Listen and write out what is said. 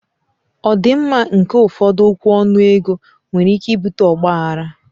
Ọdịmma nke ụfọdụ okwu ọnụ ego nwere ike ibute ọgba aghara